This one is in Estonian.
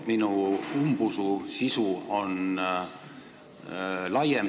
Minu umbusu põhjus on laiem.